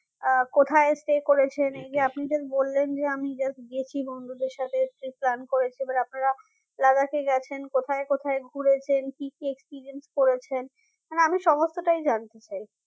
আহ কোথায় stay করেছেন এইযে আপনি যে বললেন যে আমি just গিয়েছিলাম ওদের সাথে pre-plan করেছি এবার আপনারা Ladakh এ গেছেন কোথায় কোথায় ঘুরেছেন কি experience করেছেন মানে আমি সমস্তটাই জানতে চাই